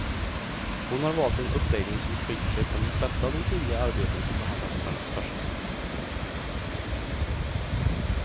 Hon har valt en uppläggning som skiljer sig från de flesta av de tidigare arbeten som behandlat svensk fascism.